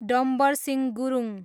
Dambar Singh Gurung